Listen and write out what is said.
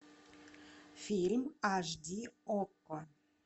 фильм аш ди окко